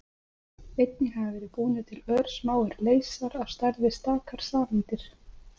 Einnig hafa verið búnir til örsmáir leysar, á stærð við stakar sameindir.